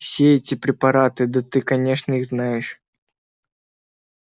все эти препараты да ты конечно их знаешь